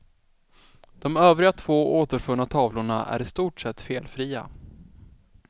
De övriga två återfunna tavlorna är i stort sett felfria.